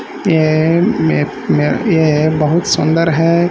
ये मेत मेह ये बहुत सुंदर है।